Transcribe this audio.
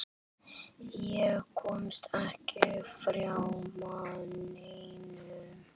Ég komst ekki framhjá neinum.